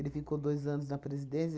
Ele ficou dois anos na presidência.